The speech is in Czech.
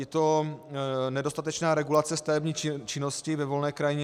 Je to nedostatečná regulace stavební činnosti ve volné krajině.